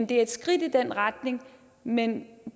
det er et skridt i den retning men